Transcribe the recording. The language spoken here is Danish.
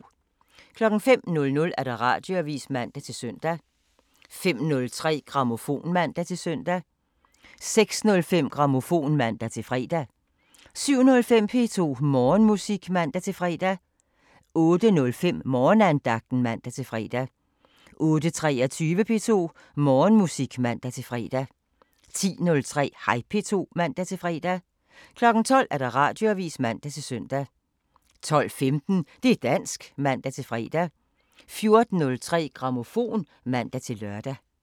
05:00: Radioavisen (man-søn) 05:03: Grammofon (man-søn) 06:05: Grammofon (man-fre) 07:05: P2 Morgenmusik (man-fre) 08:05: Morgenandagten (man-fre) 08:23: P2 Morgenmusik (man-fre) 10:03: Hej P2 (man-fre) 12:00: Radioavisen (man-søn) 12:15: Det' dansk (man-fre) 14:03: Grammofon (man-lør)